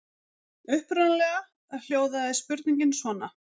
Upprunalega hljóðaði spurningin svona: